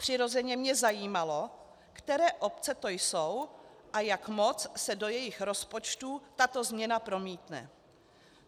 Přirozeně mě zajímalo, které obce to jsou a jak moc se do jejich rozpočtů tato změna promítne.